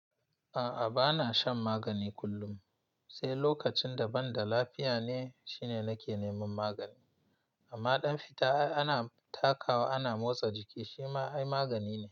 A'a, bana shan magani kullum, sai lokacin da banda lafiya ne shine nake neman magani. Amma ɗan fita ana takawa ana motsa jiki shi ma ai magani ne.